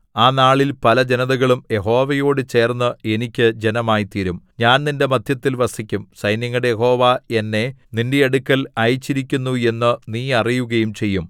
ആ നാളിൽ പല ജനതകളും യഹോവയോടു ചേർന്ന് എനിക്ക് ജനമായിത്തീരും ഞാൻ നിന്റെ മദ്ധ്യത്തിൽ വസിക്കും സൈന്യങ്ങളുടെ യഹോവ എന്നെ നിന്റെ അടുക്കൽ അയച്ചിരിക്കുന്നു എന്നു നീ അറിയുകയും ചെയ്യും